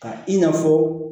Ka i n'a fɔ